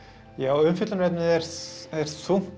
umfjöllunarefnið er er þungt